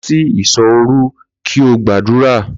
Lọ sí ìṣò òru kí o gbàdúrà!